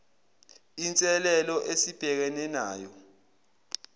inselelo esibhekene nayo